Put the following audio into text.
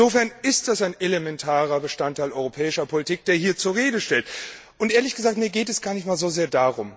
Insofern ist das ein elementarer Bestandteil europäischer Politik, der hier zur Rede stellt. Ehrlich gesagt, darum geht es mir gar nicht so sehr.